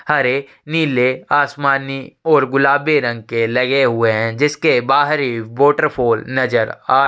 हरे नीले आसमानी और गुलाबी रंग के लगे हुए है|जिसके बाहरी वॉटरफॉल नज़र आ--